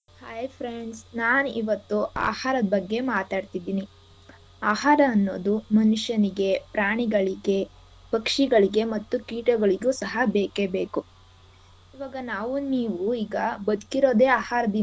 Hai friends ನಾನ್ ಇವತ್ತು ಆಹಾರದ್ ಬಗ್ಗೆ ಮಾತಾಡ್ತಿದೀನಿ ಆಹಾರ ಅನ್ನೋದು ಮನುಷ್ಯನಿಗೆ ಪ್ರಾಣಿಗಳಿಗೆ ಪಕ್ಷಿಗಳಿಗೆ ಮತ್ತು ಕೀಟಗಳಿಗೂ ಸಹ ಬೇಕೆ ಬೇಕು ಇವಾಗ ನಾವು ನೀವು ಈಗ ಬದ್ಕಿರೋದೇ ಆಹಾರದಿಂದ.